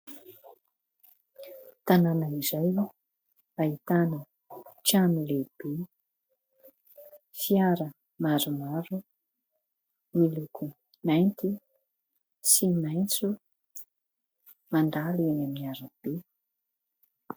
Tanàna iray ahitana trano lehibe. Fiara maromaro, miloko mainty sy maitso mandalo eny amin'ny arabe.